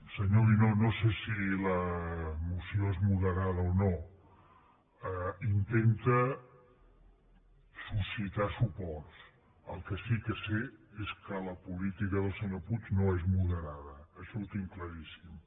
senyor guinó no sé si la moció és moderada o no intenta suscitar suports el que sí que sé és que la política del senyor puig no és moderada això ho tinc claríssim